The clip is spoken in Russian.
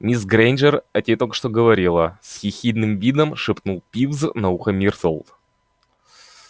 мисс грэйнджер о тебе только что говорила с ехидным видом шепнул пивз на ухо миртл